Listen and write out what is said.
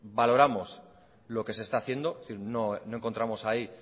valoramos lo que se está haciendo no encontramos ahí